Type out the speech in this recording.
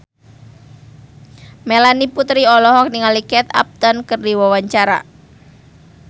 Melanie Putri olohok ningali Kate Upton keur diwawancara